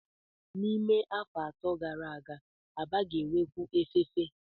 N'ime afọ atọ gara aga, Aba ga-enwekwu efefe.